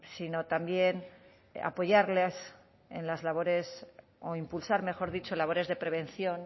sino también apoyarles en las labores o impulsar mejor dicho labores de prevención